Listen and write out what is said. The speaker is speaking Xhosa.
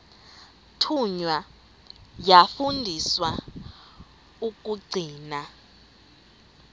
thunywa yafundiswa ukugcina